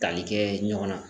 Tali kɛ ɲɔgɔn na